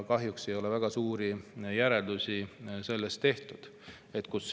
Kahjuks ei ole väga suuri järeldusi tehtud.